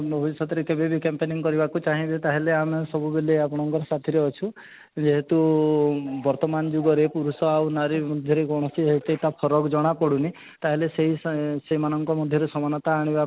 ଭବିଷ୍ୟତରେ କେବେବି camping କରିବାକୁ ଚାହିଁବେ ତାହେଲେ ସବୁବେଲେ ଆମେ ଆପଣଙ୍କ ସାଥିରେ ଅଛୁ ଯେହେତୁ ଏଇ ବର୍ତମାନ ଯୁଗରେ ପୁରୁଷ ଆଉ ନାରୀ ମଧ୍ୟରେ କୌଣସି ଭୌତିତା ଫରକ ଜଣା ପଡୁନି ତାହେଲେ ସେଇ ସେମାନଙ୍କ ମଧ୍ୟରେ ସମାନତା ଆଣିବା